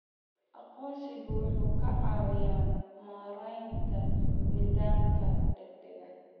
Aqoonsigu wuxuu ka caawiyaa maaraynta nidaamka gaadiidka.